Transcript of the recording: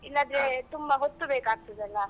ಇಲ್ಲಾದ್ರೆ ತುಂಬಾ ಹೊತ್ತು ಬೇಕಾಗ್ತದೆ ಅಲ್ಲಾ.